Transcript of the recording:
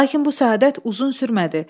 Lakin bu səadət uzun sürmədi.